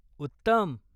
उत्तम!